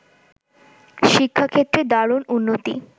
শিক্ষাক্ষেত্রে দারুণ উন্নতি